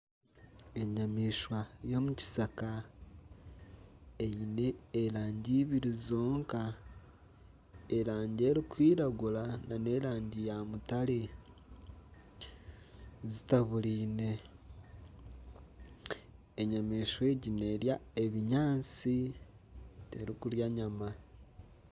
Enyamaishwa y'omu kishaka eine erangi eibiri zonka erangi erikwiragura na n'erangi ya mutare zitaburaine enyamaishwa egi nerya ebinyaatsi terikurya nyama.